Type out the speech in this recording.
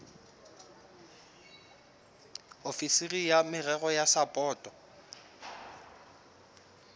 ofisiri ya merero ya sapoto